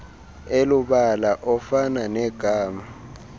elubala ofana negama